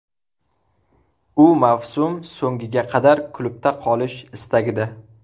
U mavsum so‘ngiga qadar klubda qolish istagida.